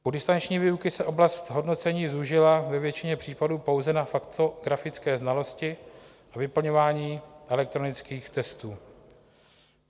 U distanční výuky se oblast hodnocení zúžila ve většině případů pouze na faktografické znalosti a vyplňování elektronických testů.